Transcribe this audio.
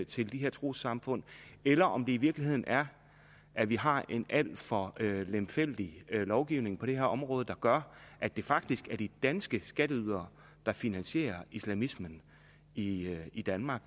til de her trossamfund eller om det i virkeligheden er at vi har en alt for lemfældig lovgivning på det her område der gør at det faktisk er de danske skatteydere der finansierer islamismen i i danmark